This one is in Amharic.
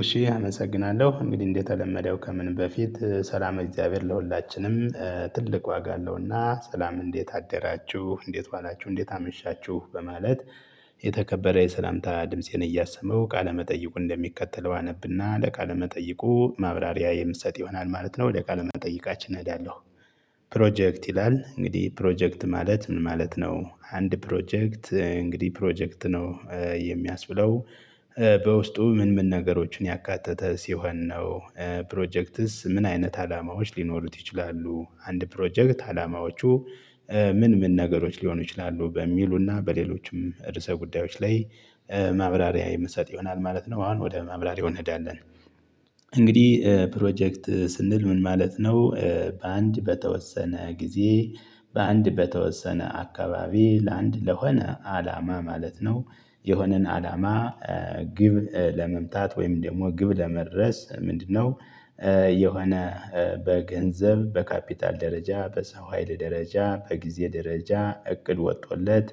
እሺ አመሰግናለሁ እንግዲህ እንደተለመደው ከምንም በፊት ሰላም እግዚአብሔር ለሁላችንም ትልቅ ዋጋ አለውና ሰላም እንዴት አደራችሁ እንዴት ዋላችሁ እንዴት አመሻችሁ በማለት የተከበረ የሰላምታ ድምፄን እያሰማሁ ቃለመጠይቁ እንደሚከተለው አነብና ለቃለመጠይቁ ማብራሪያ የምሰጥ ይሆናል ማለት ነው ወደቃለ መጠይቃችን እሄዳለሁ። ፕሮጀክት ይላል እንግዲህ ፕሮጀክት ማለት ምን ማለት ነው? አንድ ፕሮጀክት እንግዲህ ፕሮጀክት ነው። የሚያስብለው በውስጡ ምን ምን ነገሮችን ያካተተ ሲሆን ነው። ፕሮጀክትስ ምን አይነት አላማዎች ሊኖሩት ይችላሉ? አንድ ፕሮጀክት አላማዎቹ ምን ምን ነገሮች ሊሆኑ ይችላሉ በሚሉና በሌሎችም ርዕሰ ጉዳዮች ላይ ማብራሪያ የምሰጥ ይሆናል ማለት ነው። አሁን ወደ ማብራሪያው እንሄዳለን። እንግዲህ ፕሮጀክት ስንል ምን ማለት ነው? በአንድ በተወሰነ ጊዜ በአንድ በተወሰነ አካባቢ ለአንድ ለሆነ አላማ ማለት ነው። የሆነን አላማ ግብ ለመምታት ወይም ደግሞ ግብ ለማድረስ ምንድነው? የሆነ በገንዘብ በካፒታል ደረጃ በሰው ሀይል ደረጃ በጊዜ ደረጃ እቅድ ወጥቶለት።